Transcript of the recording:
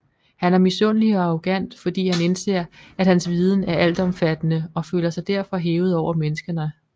Han er misundelig og arrogant fordi han indser at hans viden er altomfattende og føler sig derfor hævet over menneskerne